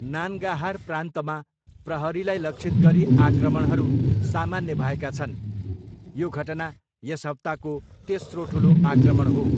नान्गाहार प्रान्तमा प्रहरीलाई लक्षित गरी आक्रमणहरू सामान्य भएका छन्, यो घटना यस हप्ताको तेस्रो ठुलो आक्रमण हो।